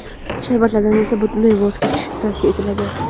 Sharbatlardan esa butunlay voz kechish tavsiya etiladi.